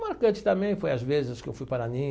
Marcante também foi, às vezes, que eu fui